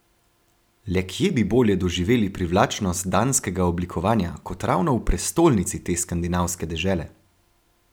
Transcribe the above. Le kje bi bolje doživeli privlačnost danskega oblikovanja kot ravno v prestolnici te skandinavske dežele?